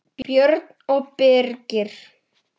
Björn og Birkir.